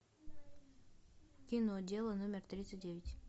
кино дело номер тридцать девять